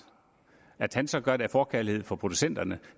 at han så gør det af forkærlighed for producenterne